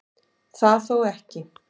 Það þó ekki